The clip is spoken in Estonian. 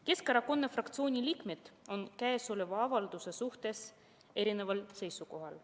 Keskerakonna fraktsiooni liikmed on käesoleva avalduse suhtes eri seisukohal.